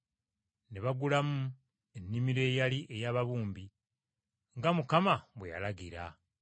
ne bagulamu ennimiro eyali ey’ababumbi, nga Mukama bwe yalagira.”